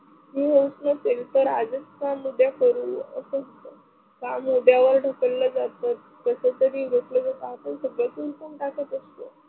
हे होत नसेल तर आजच काम उद्या करू काम उद्या वर ढकलल जात कसंतरी